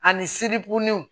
Ani siribugu ni